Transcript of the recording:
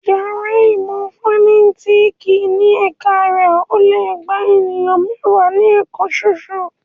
Yàrá ìmọ̀ fọ̀nẹ́tìkì ní ẹ̀ka rẹ̀ ò le gba èèyàn mẹ́wàá ní ẹ̀kan soso